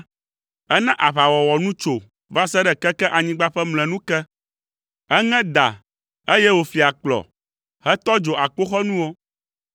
Ena aʋawɔwɔ nu tso va se ɖe keke anyigba ƒe mlɔenu ke; eŋe da, eye wòfli akplɔ, hetɔ dzo akpoxɔnuwo.